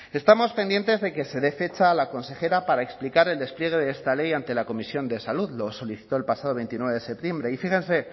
estamos pendientes de que se dé fecha a la consejera para explicar el despliegue de esta ley ante la comisión de salud lo solicitó el pasado veintinueve de septiembre y fíjense